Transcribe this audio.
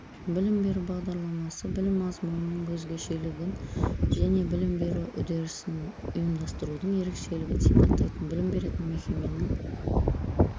білім беру бағдарламасы білім мазмұнының өзгешелігін және білім беру үдерісін ұйымдастырудың ерекшелігін сипаттайтын білім беретін мекеменің